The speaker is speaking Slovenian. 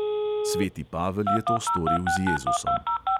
Sveti pavel je to storil z jezusom.